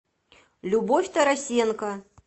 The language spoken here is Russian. любовь тарасенко